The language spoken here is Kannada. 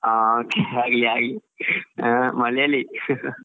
ಹಾ okay ಆಗ್ಲಿ ಆಗ್ಲಿ ಆ Malayali